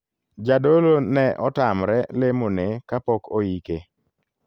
Jadolo ne otamre lemo ne kapok oike.